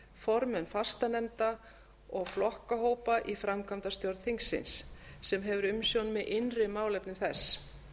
formenn fastanefnda og flokkahópa í framkvæmdastjórn þingsins sem hefur umsjón með innri málefnum þess